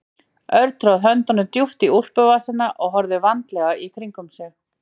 Örn tróð höndunum djúpt í úlpuvasana og horfði vandlega í kringum sig.